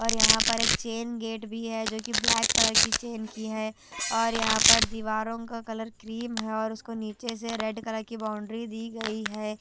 और यहाँ पर एक चैन गेट भी है जोकि ब्लैक कलर की चेन की है और यहाँ पर दीवारों का कलर क्रीम है और उसको नीचे से रेड कलर की बाउंड्री दी गई हैं।